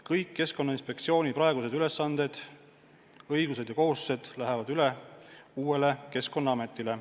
Kõik Keskkonnainspektsiooni praegused ülesanded, õigused ja kohustused lähevad üle uuele Keskkonnaametile.